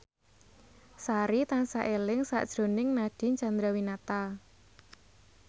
Sari tansah eling sakjroning Nadine Chandrawinata